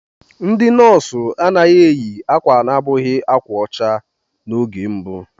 Ndị nọọsụ anaghị eyi akwa abụghị ákwà ọcha n'oge mbụ.